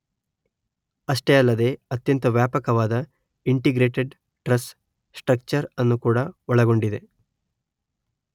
ಅಷ್ಟೇ ಅಲ್ಲದೇ ಅತ್ಯಂತ ವ್ಯಾಪಕವಾದ ಇಂಟಿಗ್ರೇಟೆಡ್ ಟ್ರಸ್ ಸ್ಟ್ರಕ್ಚರ್ ಅನ್ನು ಕೂಡ ಒಳಗೊಂಡಿದೆ